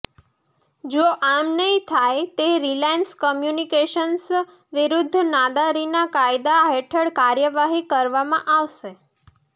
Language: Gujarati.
જો આમ નહીં થાય તે રિલાયન્સ કમ્યુનિકેશન્સ વિરૂદ્ધ નાદારીના કાયદા હેઠળ કાર્યવાહી કરવામાં આવશે